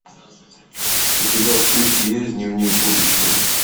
у тебя в списке есть дневник будущего